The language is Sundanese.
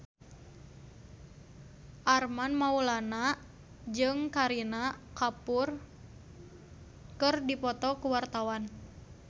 Armand Maulana jeung Kareena Kapoor keur dipoto ku wartawan